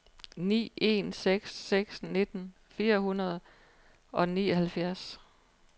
ni en seks seks nitten fire hundrede og nioghalvfjerds